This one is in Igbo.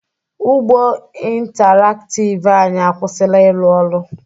Ụgbọ intaraktiv anyị akwụsịla ịrụ ọrụ.